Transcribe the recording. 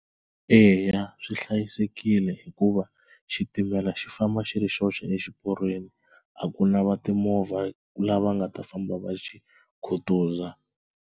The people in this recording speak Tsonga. Eya swi hlayisekile hikuva xitimela xi famba xi ri xoxe exiporweni a ku na va timovha lava nga ta famba va xi khutuza.